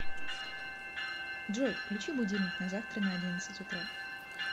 джой включи будильник на завтра на одиннадцать утра